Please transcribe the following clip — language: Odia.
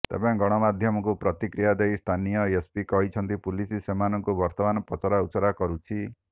ତେବେ ଗଣମାଧ୍ୟମକୁ ପ୍ରତିକ୍ରିୟା ଦେଇ ସ୍ଥାନୀୟ ଏସ୍ପି କହିଛନ୍ତି ପୁଲିସ୍ ସେମାନଙ୍କୁ ବର୍ତ୍ତମାନ ପଚରାଉଚରା କରୁଛି